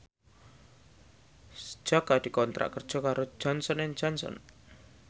Jaka dikontrak kerja karo Johnson and Johnson